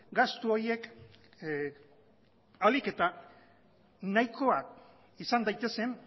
gastu horiek ahalik eta nahikoak izan daitezen